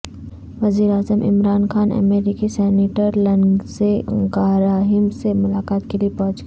وزیر اعظم عمران خان امریکی سینیٹر لنزے گراہم سے ملاقات کےلئے پہنچ گئے